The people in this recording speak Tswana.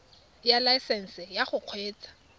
ya laesesnse ya go kgweetsa